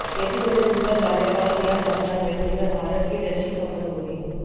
यदि उन्हें दूसरा कार्यकाल दिया जाता है तो यह भारत के लिए अच्छी खबर होगी